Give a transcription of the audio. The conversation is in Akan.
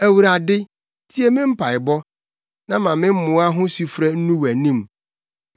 Awurade, tie me mpaebɔ; na ma me mmoa ho sufrɛ nnu wʼanim.